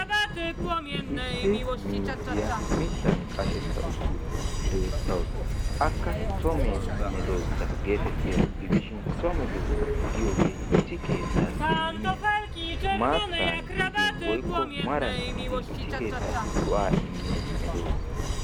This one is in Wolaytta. Issi miizziyaa mittan qasheta uttidaara beettawusu. Akka so medoossa getettiyaaro gidishin so medoossa giyogee issi keettaan immiyaa maattaan gidin woykko maran gidin issi keettaa go'aa immiya medoossa.